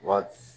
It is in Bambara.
Wa